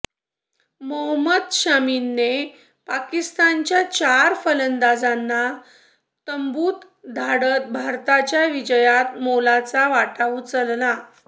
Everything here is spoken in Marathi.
मोहोम्मद शामीने पाकिस्तानच्या चार फलंदाजांना तंबूत धाडत भारताच्या विजयात मोलाचा वाटा उचलला